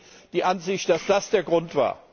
Teilen Sie die Ansicht, dass das der Grund war?